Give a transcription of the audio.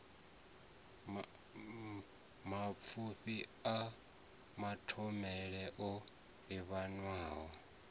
mapfufhi a mathomele o livhanywa